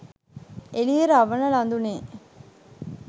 එළියෙ රවන ළඳුනේ